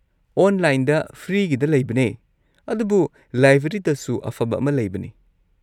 ꯑꯣꯟꯂꯥꯏꯟꯗ ꯐ꯭ꯔꯤꯒꯤꯗ ꯂꯩꯕꯅꯤ, ꯑꯗꯨꯕꯨ ꯂꯥꯏꯕ꯭ꯔꯦꯔꯤꯗꯁꯨ ꯑꯐꯕ ꯑꯃ ꯂꯩꯕꯅꯦ꯫